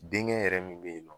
Denkɛ yɛrɛ min bɛyinɔ.